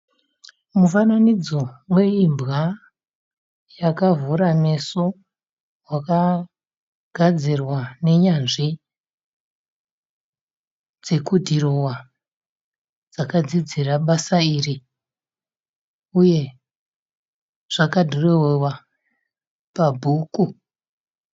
Mufananidzo weimbwa yakavhura meso wakagadzirwa nenyanzvi dzekudhirowa dzakadzidzira basa iri uye zvakadhirowewa pabhuku.